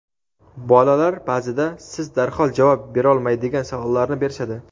bolalar baʼzida siz darhol javob berolmaydigan savollarni berishadi.